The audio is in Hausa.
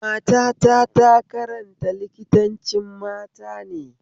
Matata ta karanta likitancin matane